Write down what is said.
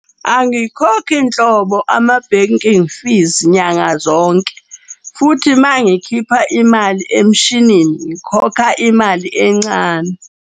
Angikhokhi nhlobo ama-banking fees nyanga zonke futhi mangikhipha imali emshinini, ngikhokha imali encane.